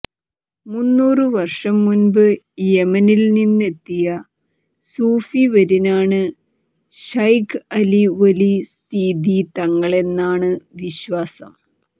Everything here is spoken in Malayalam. മുന്നൂറുവർഷംമുമ്പ് യെമെനിൽനിന്നുമെത്തിയ സൂഫിവര്യനാണ് ശൈഖ് അലി വലി സീതി തങ്ങളെന്നാണ് വിശ്വാസം